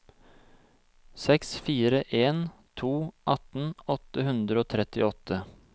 seks fire en to atten åtte hundre og trettiåtte